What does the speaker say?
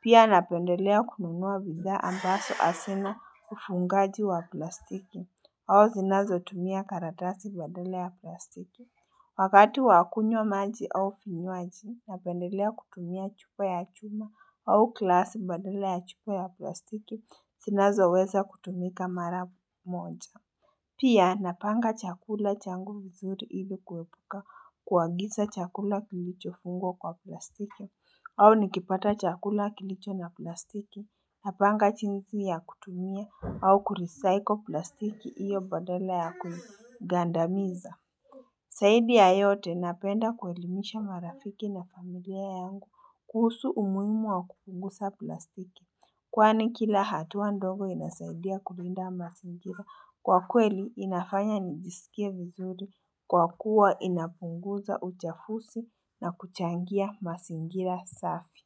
Pia napendelea kununua bidhaa ambazo hazina ufungaji wa plastiki au zinazo tumia karatasi badala ya plastiki Wakati wakunywa maji au vinywaji na pendelea kutumia chupa ya chuma au glasi badala ya chupa ya plastiki zinazo weza kutumika mara moja. Pia napanga chakula changu vizuri ili kuepuka kuagiza chakula kilicho fungwa kwa plastiki au nikipata chakula kilicho na plastiki na panga jinsi ya kutumia au kurecycle plastiki iyo badala ya kuigandamiza. Zaidi ya yote napenda kuelimisha marafiki na familia yangu kuhusu umuhimu wa kupunguza plastiki kwani kila hatua ndogo inasaidia kulinda mazingira kwa kweli inafanya nijisikia vizuri kwa kuwa inapunguza uchafuzi na kuchangia mazingira safi.